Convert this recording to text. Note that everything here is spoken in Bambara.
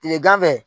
Kile ganfɛ